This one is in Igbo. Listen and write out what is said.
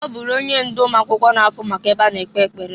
Ọ bụrụ onye ndụ ụmụakwụkwọ na-afụ maka ebe a na-ekpe ekpere.